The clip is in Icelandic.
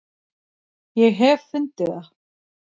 ég hef fundið það!